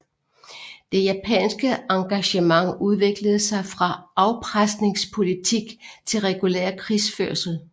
Det japanske engagement udviklede sig fra afpresningspolitik til regulær krigsførsel